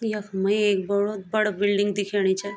यखम एक बडू बड़ा बिल्डिंग दिखेणी छ।